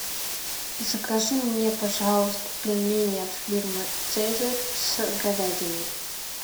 закажи мне пожалуйста пельмени от фирмы цезарь с говядиной